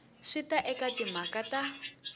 swi ta eka timhaka ta